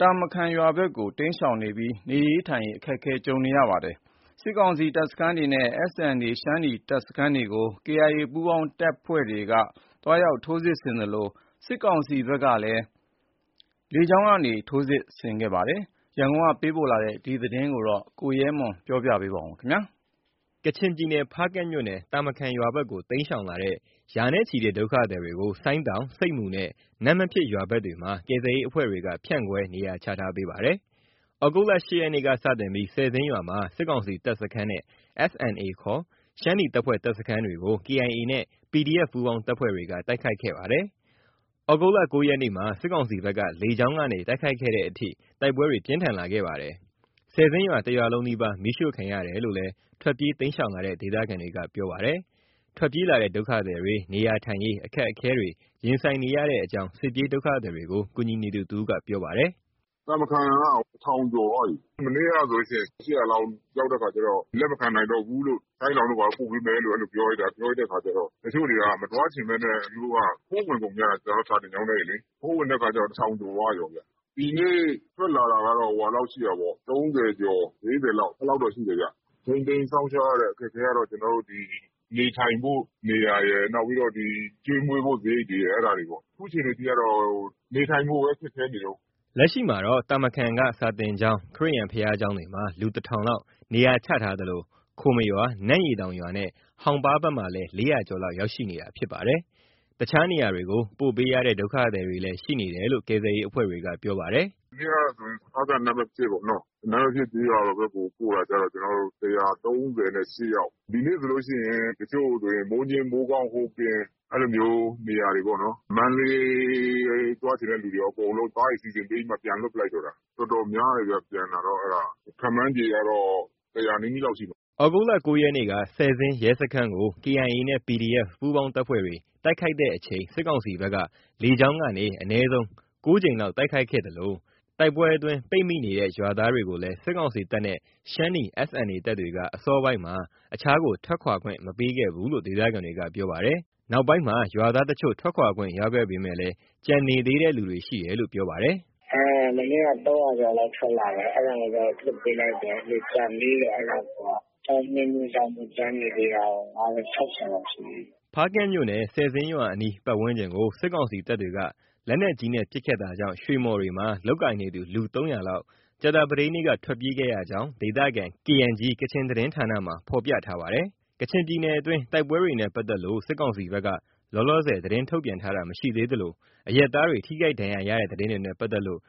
တာမခန်ရွာဘက်ကို တိမ်းရှောင်နေပြီး နေထိုင်ရေး အခက်အခဲတွေ ကြုံတွေ့နေရပါတယ်။ စစ်ကောင်စီတပ်စခန်းတွေနဲ့ SNA ရှမ်းနီတပ်စခန်းတွေကို KIA နဲ့ PDF က ထိုးစစ်ဆင်သလို စစ်ကောင်စီဘက်ကလည်း လေကြောင်းကနေ ထိုးစစ်ဆင်ခဲ့ပါတယ် ။ ကချင်ပြည်နယ်အတွင်းက စစ်ဘေးရှောင်တွေရဲ့ အခြေအနေ၊ ရန်ကုန်က ပေးပို့တဲ့ သတင်းကို ကိုရဲမွန် က ပြောပြပါလိမ့်မယ်။ ကချင်ပြည်နယ် ဖားကန့်မြို့နယ် တာမခန်ရွာဘက်ကို တိမ်းရှောင်လာတဲ့ ရာနဲ့ချီတဲ့ ဒုက္ခသည်တွေကို ဆိုင်းတောင်၊ ဆိပ်မူနဲ့ နမ့်မဖြစ်ရွာဘက်တွေမှာ ကယ်ဆယ်ရေးအဖွဲ့တွေက ဖြန့်ခွဲ နေရာချထားပေးပါတယ်။ ဒီလ ၈ရက်နေ့က စတင်ပြီး ဆယ်ဇင်းရွာမှာ စစ်ကောင်စီတပ်စခန်းနဲ့ SNA ခေါ် ရှမ်းနီတပ်ဖွဲ့ တပ်စခန်းတွေကို KIA နဲ့ PDF ပူးပေါင်းတပ်တွေက တိုက်ခိုက်ခဲ့ပါတယ်။ ၉ ရက်နေ့မှာ စစ်ကောင်စီ ဘက်က လေကြောင်းက တိုက်ခိုက်ခဲ့တဲ့အထိ တိုက်ပွဲတွေ ပြင်းထန်လာခဲ့ပါတယ်။ ဆယ်ဇင်းရွာတစ်ရွာလုံးနီးပါး မီးရှို့ခံရတယ်လို့လည်း ထွက်ပြေးတိမ်းရှောင်လာတဲ့ ဒေသခံတွေက ပြောပါတယ်။ ထွက်ပြေးလာတဲ့ ဒုက္ခသည်တွေ နေထိုင်ရေးအခက်အခဲတွေ ရင်ဆိုင်နေရတဲ့အကြောင်း စစ်ပြေးဒုက္ခသည်တွေကို ကူညီနေသူ တစ်ဦးက ပြောပါတယ်။ “ တာမခန်က ၁ဝဝဝ ကျော်သွားပြီ။ မနေ့ကဆိုရင် ၈ဝဝ လောက် ရောက်တဲ့အခါကျတော့ လက်မခံနိုင်တော့ဘူးလို့။ ဆိုင်းတောင်တို့ဘာတို့ ပို့ပေးမယ်လို့။ အဲလိုပြောလိုက်တဲ့အခါကျတော့ တချို့တွေက မသွားချင်ဘဲနဲ့ သူတို့တွေက ခိုးဝင်ကုန်ကြတာ။ ကျနော်တို့ စာသင်ကျောင်းထဲတွေလေ။ ခိုးဝင်တဲ့အခါကျတော့ ၁ဝဝဝ ကျော်သွားရော။ ဒီနေ့ ရှိတာကကျ ၃ဝကျော်။ ၄ဝ အဲလောက်ရှိတယ်ဗျ။ ထိန်းသိမ်းစောင့်ရှောက်ရတဲ့ အခက်အခဲကတော့ ဒီနေထိုင်ဖို့ နေရာရယ်။ ကျွေးမွေးဖို့ စရိတ်တွေရယ်။ အဲဒါတွေပေါ့။ အခုအခြေအနေ အထိကတော့ နေထိုင်ဖို့လည်း ခက်ခဲနေတုံး။” လက်ရှိအချိန်မှာတော့ တာမခန်က စာသင်ကျောင်း၊ ခရစ်ယာန် ဘုရားကျောင်းတွေမှာ လူ ၁ဝဝဝ လောက် နေရာချထားသလို ခိုမရွာ၊ နန့်ရေတောင်ရွာနဲ့ ဟောင်ပါးဘက်မှာလည်း ၄ဝဝ ကျော်လောက် ရောက်ရှိနေတာဖြစ်ပါတယ်။ တခြားနေရာတွေကို ပို့ပေးရတဲ့ ဒုက္ခသည်တွေလည်း ရှိနေတယ်လို့ ကယ်ဆယ်ရေးအဖွဲ့တွေက ပြောပါတယ်။ “မနေ့ကဆိုရင် ဖားကန့်၊ နမ့်မဖြစ်ပေါ့နော်။ နမ့်မဖြစ် ကျေးရွာဘက်ကို ပို့တာ ၁၃၈ယောက်။ ဒီနေ့ဆိုရင် တချို့ဆို မိုးညှင်း၊ မိုးကောင်း၊ ဟိုပင် အဲလိုမျိုးနေရာတွေပေါ့နော်။ မန္တလေး သွားချင်တဲ့လူတွေရော အကုန်လုံး ကားတွေ စီစဉ်ပြီးမှ ပြန်လွှတ်ပစ်လိုက်တော့တာ။ အတော်များတယ်ဗျ။ ပြန်တာ ခန့်မှန်ခြေကတော့ ၁ဝဝ နီးနီးလောက်ရှိ မယ်။ ” ၉ ရက်နေ့က ဆယ်ဇင်းရဲစခန်းကို KIA နဲ့ PDF ပူးပေါင်းတပ်ဖွဲ့တွေ တိုက်ခိုက်တဲ့အချိန်၊ စစ်ကောင်စီဘက်က လေကြောင်းကနေ အနည်းဆုံး ၉ ကြိမ်လောက် တိုက်ခိုက်ခဲ့သလို တိုက်ပွဲအတွင်း ပိတ်မိနေတဲ့ ရွာသားတွေကိုလည်း စစ်ကောင်စီတပ်နဲ့ ရှမ်းနီ SNA တပ်တွေက အစောပိုင်းမှာ အခြားကို ထွက်ခွာခွင့် မပေးခဲ့ဘူးလို့ ဒေသခံတွေက ပြောပါတယ်။ နောက်ပိုင်းမှာ ရွာသားတချို့ ထွက်ခွာခွင့်ရခဲ့ပေမယ့် ကျန်သေးတယ်လို့လည်း ပြောပါတယ်။ “ မနေ့က ၃ဝဝကျော်လောက် ထွက်လာတယ်။ အဲဒါကိုတော့ လွှတ်ပေးလိုက်တယ်။ ကျန်သေးတယ် အဲဒါကိုက။ အကြောင်းအမျိုးမျိုးကြောင့် ကျန်နေသေးတာကို ၅ဝ- ၆ဝလောက်ရှိသေးတယ်။” ဖားကန့်မြို့နယ် ဆယ်ဇင်းရွာအနီး ပတ်ဝန်းကျင်ကို စစ်ကောင်စီတပ်တွေက လက်နက်ကြီးနဲ့ ပစ်ခတ်တာကြောင့် ရွှေမှော်တွေမှာ လုပ်ကိုင်နေသူ လူ ၃ဝဝ လောက် ကြာသပတေးနေ့က ထွက်ပြေး ခဲ့ရကြောင်း ဒေသခံ KNG ကချင်သတင်းဌာက သတင်းထုတ်ပြန်ထားပါတယ်။ ကချင်ပြည်နယ်အတွင်း တိုက်ပွဲတွေနဲ့ ပတ်သက်လို့ စစ်ကောင်စီဘက်က လောလောဆယ် သတင်းထုတ်ပြန်တာ မရှိသေးသလို၊ အရပ်သားတွေ ထိခိုက်ဒဏ်ရရတဲ့ သတင်းတွေနဲ့ ပတ်သက်လို့